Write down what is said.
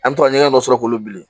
An bɛ to ka ɲɛgɛn dɔ sɔrɔ k'olu bilen